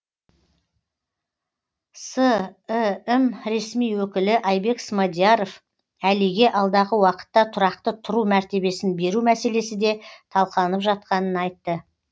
сім ресми өкілі айбек смадияров әлиге алдағы уақытта тұрақты тұру мәртебесін беру мәселесі де талқыланып жатқанын айтты